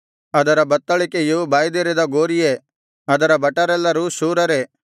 ಅದರ ಬತ್ತಳಿಕೆಯು ಬಾಯ್ದೆರೆದ ಗೋರಿಯೇ ಅದರ ಭಟರೆಲ್ಲರೂ ಶೂರರೇ